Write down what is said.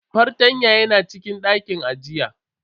Fartanyan yana cikin dakin ajiya.